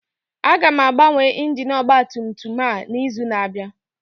Aga m agbanwe injin ọgba tum tum a n'izu na-abịa